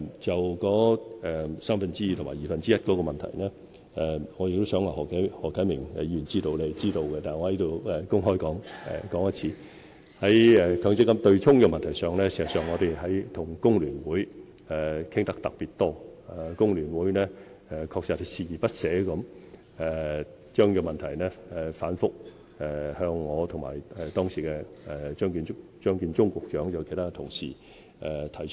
就三分之二及二分之一的問題，我相信何啟明議員是知道的，但我仍要公開說明，在強積金對沖問題上，事實上我們與工聯會談得特別多，工聯會確實鍥而不捨將問題反覆向我、當時的張建宗局長及其他同事提出。